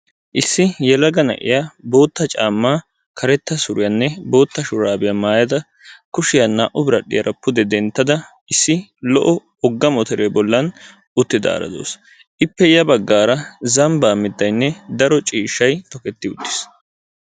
Issi yelaga na'iya bootta caammaa karetta suriyanne bootta shuraabiya maayada kushiya naa'u biradhdhiyara pude denttada issi lo'o wogga motoree bollan uttidaara de'awus. Ippe ya baggaara zambbaa mittayinne daro ciishshayi toketti uttis.